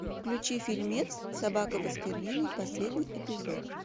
включи фильмец собака баскервилей последний эпизод